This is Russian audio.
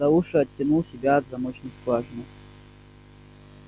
за уши оттянул себя от замочной скважины